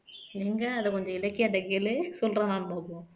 எங்க அத கொஞ்சம் இலக்கியா கிட்ட கேளு சொல்ராரனு பார்ப்போம்